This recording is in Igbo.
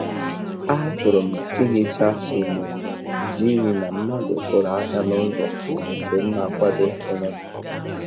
Ahapụrụ m ihicha enyo n’ihi na mmadụ kuru aka n'ụzọ mgbe m na-akwado onwe m.